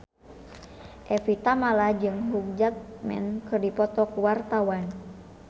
Evie Tamala jeung Hugh Jackman keur dipoto ku wartawan